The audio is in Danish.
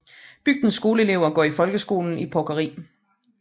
Bygdens skoleelever går i folkeskolen i Porkeri